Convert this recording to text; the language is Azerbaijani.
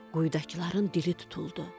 Quyudakıların dili tutuldu.